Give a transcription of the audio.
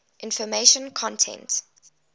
information content